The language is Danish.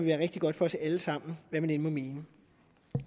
være rigtig godt for os alle sammen hvad man end måtte mene